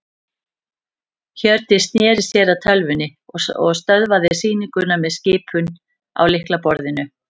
Hjördís sneri sér að tölvunni og stöðvaði sýninguna með skipun á lyklaborðinu.